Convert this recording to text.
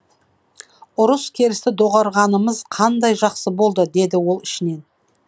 ұрыс керісті доғарғанымыз қандай жақсы болды деді ол ішінен